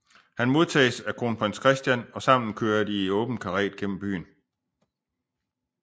Han modtages af kronprins Christian og sammen kører de i åben karet gennem byen